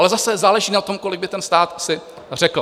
Ale zase záleží na tom, kolik by ten stát si řekl.